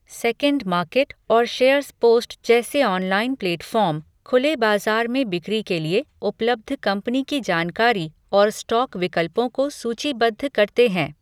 SecondMarket और SharesPost जैसे online platform, खुले बाजार में बिक्री के लिए उपलब्ध कंपनी की जानकारी और स्टॉक विकल्पों को सूचीबद्ध करते हैं।